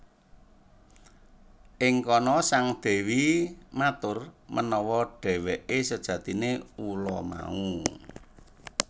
Ing kana sang dewi matur menawa dheweke sejatine ula mau